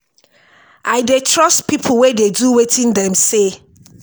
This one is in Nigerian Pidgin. i dey trust pipo wey dey do wetin dem say.